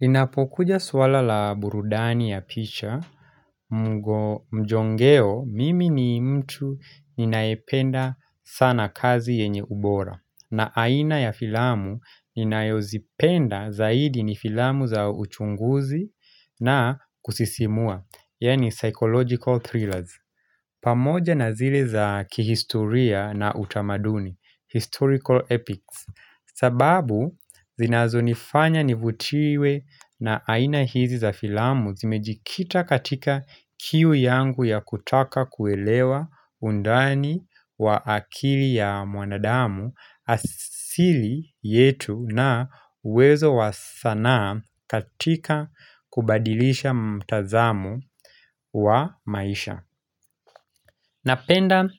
Inapokuja swala la burudani ya picha mjongeo mimi ni mtu ninayependa sana kazi yenye ubora na aina ya filamu ninayozipenda zaidi ni filamu za uchunguzi na kusisimua, yaani psychological thrillers pamoja na zile za kihisturia na utamaduni, historical epics sababu zinazonifanya nivutiwe na aina hizi za filamu zimejikita katika kiu yangu ya kutaka kuelewa undani wa akili ya mwanadamu asili yetu na uwezo wa sanaa katika kubadilisha mtazamu wa maisha Napenda